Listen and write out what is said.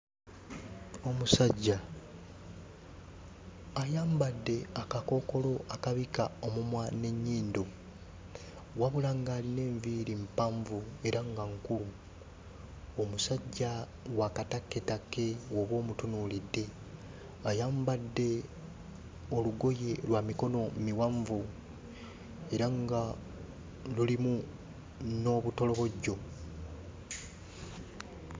Omusajja ayambadde akakookolo akabikka omumwa n'ennyindo, wabula ng'alina enviiri mpanvu era nga nkulu. Omusajja wa katakketakke bw'oba omutunuulidde. Ayambadde olugoye lwa mikono miwanvu era nga lulimu n'obutolobojjo.